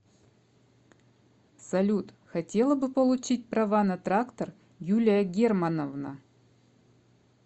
салют хотела бы получить права на трактор юлия германовна